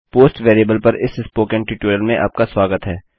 post variable पर इस spoken tutorial में आपका स्वागत है